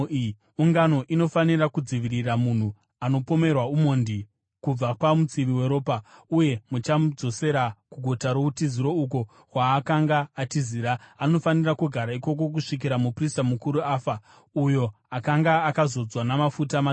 Ungano inofanira kudzivirira munhu anopomerwa umhondi kubva pamutsivi weropa uye vachamudzosera kuguta routiziro uko kwaakanga atizira. Anofanira kugara ikoko kusvikira muprista mukuru afa, uyo akanga akazodzwa namafuta matsvene.